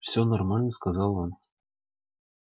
все нормально сказал он